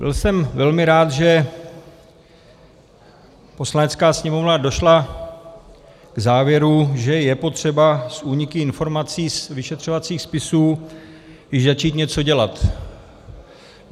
Byl jsem velmi rád, že Poslanecká sněmovna došla k závěru, že je potřeba s úniky informací z vyšetřovacích spisů již začít něco dělat.